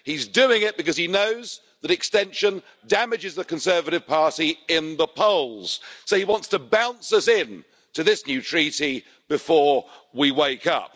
He's doing it because he knows that an extension damages the Conservative Party in the polls, so he wants to bounce us into this new treaty before we wake up.